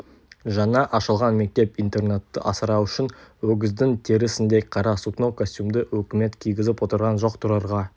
жаңа ашылған мектеп-интернатты асырау үшін өгіздің терісіндей қара сукно костюмді өкімет кигізіп отырған жоқ тұрарға